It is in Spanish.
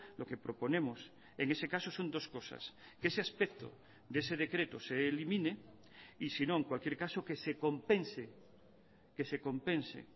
lo que proponemos en ese caso son dos cosas que ese aspecto de ese decreto se elimine y si no en cualquier caso que se compense que se compense